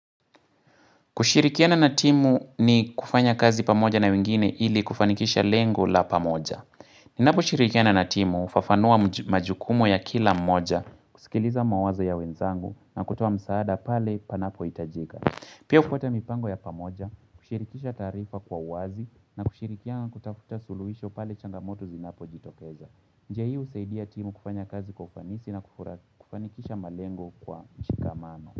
Kushirikiana na timu ni kufanya kazi pamoja na wengine ili kufanikisha lengo la pamoja. Ninaposhirikiana na timu hufafanua majukumu ya kila mmoja, kusikiliza mawazo ya wenzangu na kutuoa msaada pale panapohitajika. Pia kuweka mipango ya pamoja, kushirikisha taarifa kwa uwazi na kushirikiana kutafuta suluhisho pale changamoto zinapojitokeza. Njia husaidia timu kufanya kazi kwa ufanisi na kufanikisha malengo kwa mshikamano.